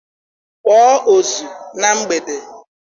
Kpọọ ozu na mgbede!